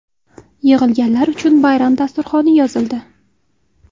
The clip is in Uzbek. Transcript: Yig‘ilganlar uchun bayram dasturxoni yozildi.